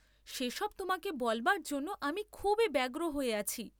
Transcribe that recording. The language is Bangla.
সে সব তোমাকে বলবার জন্যে আমি খুবই ব্যগ্র হয়ে আছি।